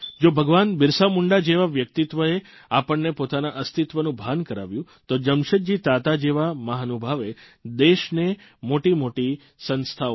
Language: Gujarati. જો ભગવાન બિરસા મુંડા જેવા વ્યક્તિત્વે આપણને પોતાના અસ્તિત્વનું ભાન કરાવ્યું તો જમશેદજી તાતા જેવા મહાનુભાવે દેશને મોટીમોટી સંસ્થાઓ આપી